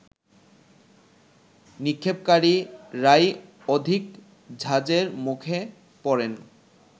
নিক্ষেপকারীরাই অধিক ঝাঁজের মুখে পড়েন